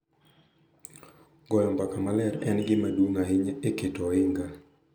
Goyo mbaka maler en gima duong’ ahinya e keto ohinga,